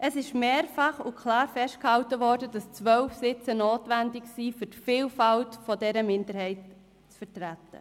Es ist mehrfach festgehalten und klar worden, dass 12 Sitze notwendig seien, um die Vielfalt dieser Minderheit zu vertreten.